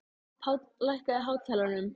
Páll, lækkaðu í hátalaranum.